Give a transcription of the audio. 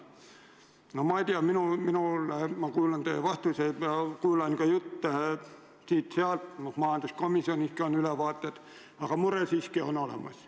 No ma ei tea, mina kuulan teie vastuseid ja kuulan ka jutte siit-sealt, majanduskomisjoniski on ülevaateid antud, aga mure siiski on olemas.